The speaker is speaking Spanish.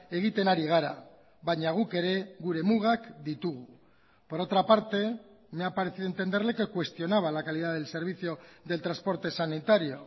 egiten ari gara baina guk ere gure mugak ditugu por otra parte me ha parecido entenderle que cuestionaba la calidad del servicio del transporte sanitario